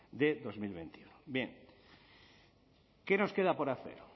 de dos mil veintiuno qué nos queda por hacer